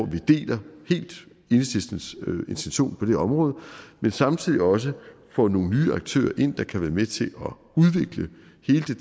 deler enhedslistens intention på det område men samtidig også få nogle nye aktører ind der kan være med til